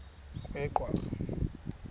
kweyedwarha